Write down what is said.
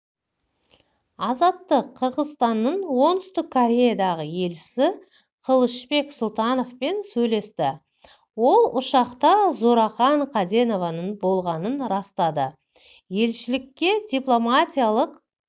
азаттық қырғызстанның оңтүстік кореядағы елшісі кылычбек сұлтановпен сөйлесті ол ұшақта зууракан каденованың болғанын растады елшілікке дипломатиялық